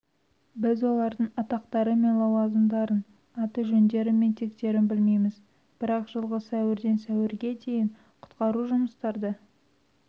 біз олардың атақтары мен лауазымдарын аты-жөндері мен тектерін білмейміз бірақ жылғы сәуірден сәуірге дейін құтқару жұмыстарды